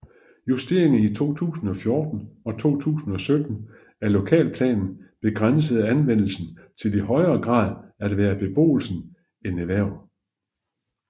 Justeringer i 2014 og 2017 af lokalplanen begrænsede anvendelsen til i højere grad at være beboelsen end erhverv